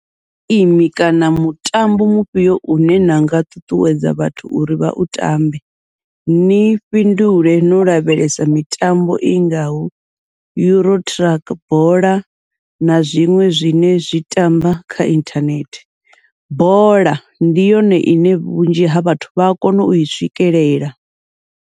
Geimi kana mutambo mufhio une nanga ṱuṱuwedza vhathu uri vha u tambe ni fhindule no lavhelesa mitambo i ngaho EuroTruck bola na zwiṅwe zwine zwi tamba kha inthanethe, bola ndi yone ine vhunzhi ha vhathu vha a kona ui swikelela.